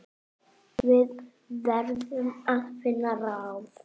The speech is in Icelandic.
Við verðum að finna ráð.